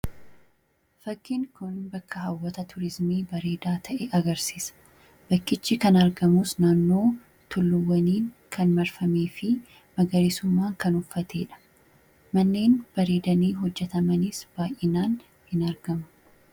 Fakkiin kun bakka hawwata turiizimii bareedaa ta'e agarsiisa. Bakkichi kan argamus naannoo tulluuwwaniin kan marfamee fi magariisummaa kan uffatee dha. Manneen bareedanii hojjetamanis baay'inaan hin argama.